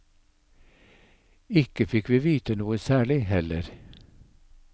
Ikke fikk vi vite noe særlig heller.